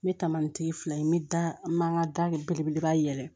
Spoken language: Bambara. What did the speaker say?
N bɛ taamanitigi fila in n bɛ da n man n ka da belebeleba yɛlɛ